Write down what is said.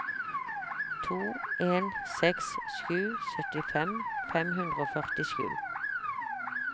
to en seks sju syttifem fem hundre og førtisju